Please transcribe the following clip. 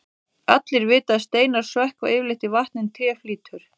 allir vita að steinar sökkva yfirleitt í vatni en tré flýtur